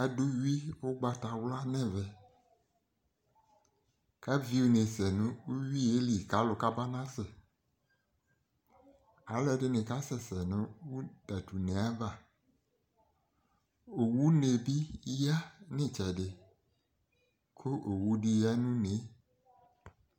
Ado uwi ugbatawla nɛmɛ ka vi une sɛ nouwie li ka alu kaba nasɛ Alɛde ne kasɛsɛ no tato une avaOwune be yia no itsɛse ko owu de ya no unee